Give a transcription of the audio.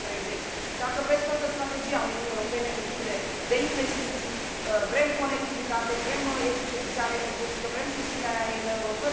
2030. Dacă vreți, toată strategia Uniunii Europene depinde de investiții, vrem conectivitate, vrem eficientizare energetică, vrem susținerea IMM urilor.